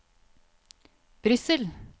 Brussel